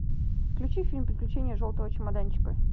включи фильм приключения желтого чемоданчика